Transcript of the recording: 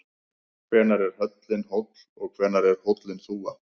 Hvenær er hóllinn hóll og hvenær er hann þúfa?